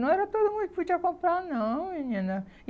Não era todo mundo que podia comprar, não, menina. E